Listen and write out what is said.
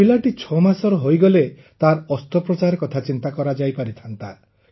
ପିଲାଟି ଛଅ ମାସର ହୋଇଗଲେ ତାର ଅସ୍ତ୍ରୋପଚାର କଥା ଚିନ୍ତା କରାଯାଇ ପାରିଥାଆନ୍ତା